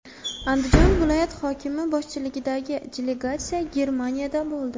Andijon viloyat hokimi boshchiligidagi delegatsiya Germaniyada bo‘ldi.